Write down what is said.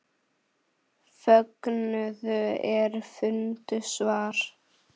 Fögnuðu er fundu svar.